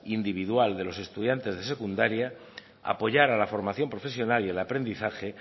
individual de los estudiantes de secundaria apoyar a la formación profesional y el aprendizaje